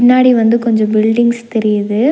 பின்னாடி வந்து கொஞ்சோ பில்டிங்ஸ் தெரியிது.